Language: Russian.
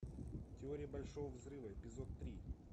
теория большого взрыва эпизод три